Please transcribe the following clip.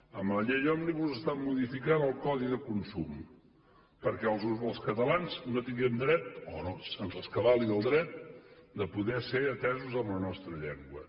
amb la llei òmnibus estan modificant el codi de consum perquè els catalans no tinguem dret o no se’ns rescabali el dret de poder ser atesos en la nostra llengua